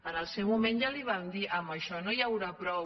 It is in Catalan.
en el seu moment ja li vam dir amb això no n’hi haurà prou